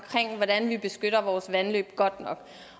hvordan vi beskytter vores vandløb godt nok